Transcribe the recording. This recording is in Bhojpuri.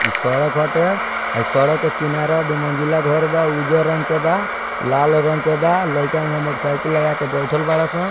इ सड़क हटे इ सड़क के किनारा दू मंजिला घर बा उज्जर रंग के बा लाल रंग के बा लयका हूंआ मोटर साइकिल लगा के बइठल बाड़े से।